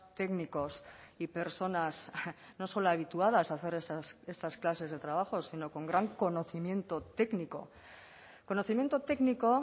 técnicos y personas no solo habituadas a hacer estas clases de trabajos sino con gran conocimiento técnico conocimiento técnico